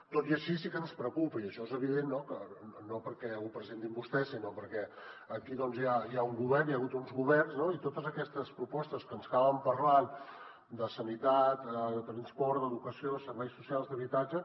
tot i així sí que ens preocupa i això és evident no perquè ho presentin vostès sinó perquè aquí doncs ja hi ha un govern hi ha hagut uns governs i totes aquestes propostes que ens acaben parlant de sanitat de transport d’educació de serveis socials d’habitatge